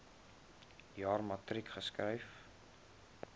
jaar matriek geskryf